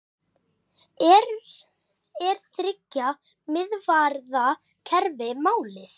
Er þriggja miðvarða kerfi málið?